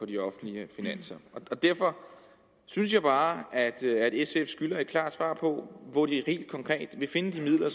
de offentlige finanser derfor synes jeg bare at sf skylder et klart svar på hvor de helt konkret vil finde de midler